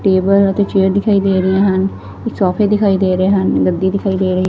Table ਅਤੇ chair ਦਿਖਾਈ ਦੇ ਰਹੀਆਂ ਹਨ ਸੋਫੇ ਦਿਖਾਈ ਦੇ ਰਹੇ ਹਨ ਗੱਦੀ ਦਿਖਾਈ ਦੇ ਰਹੀ।